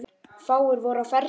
Fáir voru á ferli.